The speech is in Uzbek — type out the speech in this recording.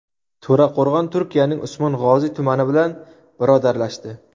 To‘raqo‘rg‘on Turkiyaning Usmong‘oziy tumani bilan birodarlashdi.